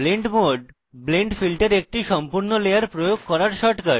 blend mode blend filter একটি সম্পূর্ণ layer প্রয়োগ করার shortcut